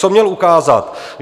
Co měl ukázat?